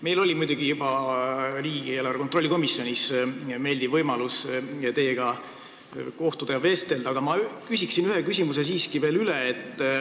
Meil oli muidugi juba riigieelarve kontrolli erikomisjonis meeldiv võimalus teiega kohtuda ja vestelda, aga ma küsiksin ühe küsimuse siiski veel.